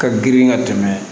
Ka girin ka tɛmɛ